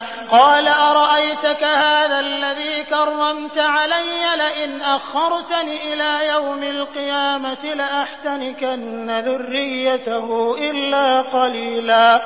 قَالَ أَرَأَيْتَكَ هَٰذَا الَّذِي كَرَّمْتَ عَلَيَّ لَئِنْ أَخَّرْتَنِ إِلَىٰ يَوْمِ الْقِيَامَةِ لَأَحْتَنِكَنَّ ذُرِّيَّتَهُ إِلَّا قَلِيلًا